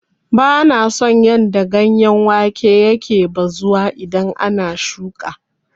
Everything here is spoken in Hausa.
Bana son yadda ganyen wake yake bazuwa idan an shuƙa.